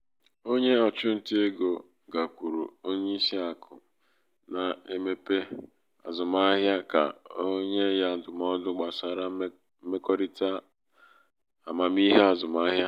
onye na-ere ụlọ kwetara n’ime obi ya ibelata ọnụahịa ụlọ ahụ site na dolla puku iri abuo